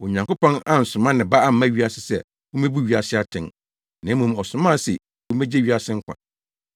Onyankopɔn ansoma ne Ba amma wiase sɛ ommebu wiase atɛn, na mmom ɔsomaa no se ommegye wiase nkwa.